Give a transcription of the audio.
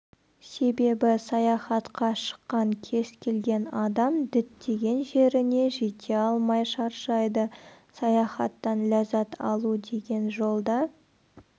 себебі саяхатқа шыққан кез келген адам діттеген жеріне жете алмай шаршайды саяхаттан ләззат алу деген жолда